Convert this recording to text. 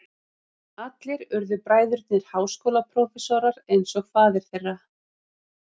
Allir urðu bræðurnir háskólaprófessorar eins og faðir þeirra.